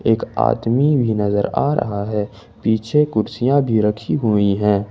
एक आदमी भी नजर आ रहा है पीछे कुर्सियां भी रखी हुई हैं।